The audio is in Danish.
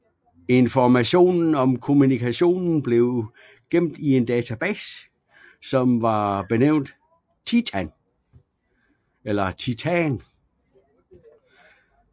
Informationen om kommunikationen blev gemt i en database som var benævnt Titan